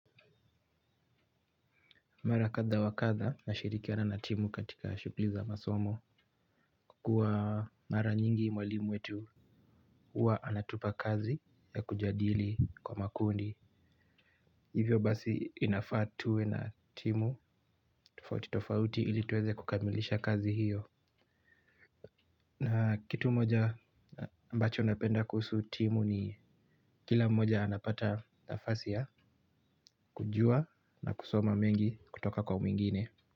Mara kadha wa kadha nashirikiana na timu katika shughuli za masomo. Kukua mara nyingi mwalimu wetu huwa anatupa kazi ya kujadili kwa makundi. Hivyo basi, inafaa tuwe na timu tofauti tofauti ili tuweze kukamilisha kazi hiyo. Na kitu moja ambacho napenda kuhusu timu ni kila mmoja anapata nafasi ya, kujua na kusoma mengi kutoka kwa mwingine.